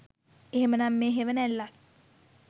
එහෙමනම් මේ හෙවණැල්ලක්